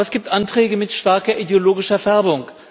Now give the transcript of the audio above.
Aber es gibt Anträge mit starker ideologischer Färbung.